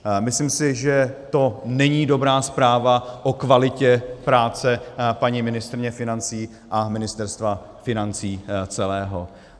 Myslím si, že to není dobrá zpráva o kvalitě práce paní ministryně financí a Ministerstva financí celého.